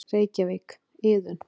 Reykjavík: Iðunn.